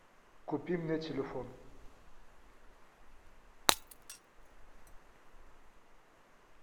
купи мне телефон